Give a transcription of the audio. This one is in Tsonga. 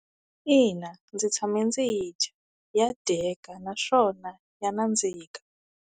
Ina, ndzi tshame ndzi yi dya ya dyeka naswona ya nandzika.